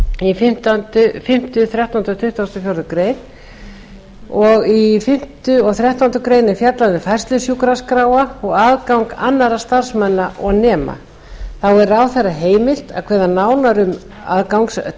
í fimmta þrettánda og tuttugasta og fjórðu greinar þess í fimmta og þrettándu grein er fjallað um færslu sjúkraskráa og aðgang annarra starfsmanna og nema þá er ráðherra heimilt að kveða nánar